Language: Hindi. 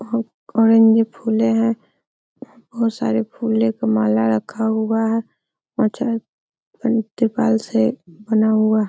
ऑरेंज फूले हैं। बोहोत सारे फूले क माला रखा हुआ है बना हुआ है।